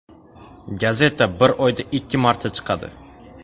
Gazeta bir oyda ikki marta chiqadi.